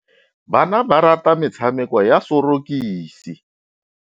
Bana ba rata metshamekô ya sorokisi.